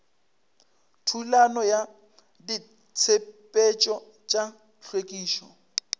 thulano ya ditshepetšo tša hlwekišo